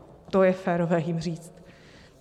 To je férové jim říct.